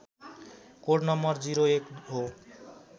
code नं ०१ हो